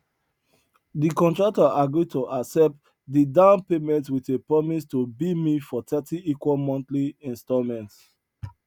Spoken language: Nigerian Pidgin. di contractor agreed to accept di down payment wit a promise to bill me for thirty equal monthly installments